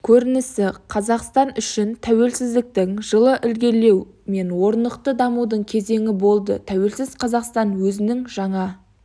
көрінісі қазақстан үшін тәуелсіздіктің жылы ілгерілеу мен орнықты дамудың кезеңі болды тәуелсіз қазақстан өзінің жаңа